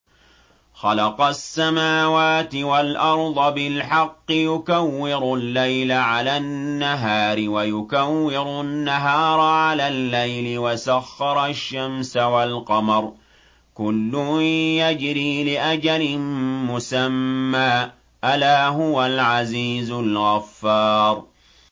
خَلَقَ السَّمَاوَاتِ وَالْأَرْضَ بِالْحَقِّ ۖ يُكَوِّرُ اللَّيْلَ عَلَى النَّهَارِ وَيُكَوِّرُ النَّهَارَ عَلَى اللَّيْلِ ۖ وَسَخَّرَ الشَّمْسَ وَالْقَمَرَ ۖ كُلٌّ يَجْرِي لِأَجَلٍ مُّسَمًّى ۗ أَلَا هُوَ الْعَزِيزُ الْغَفَّارُ